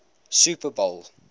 super bowl